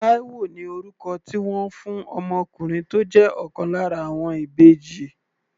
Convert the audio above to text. Taiwo ni orúkọ tí wọ́n fún ọmọkùnrin tó jẹ́ ọ̀kan lára àwọn ìbejì.